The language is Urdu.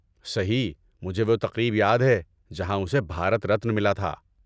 صحیح، مجھے وہ تقریب یاد ہے جہاں اسے بھارت رتن ملا تھا۔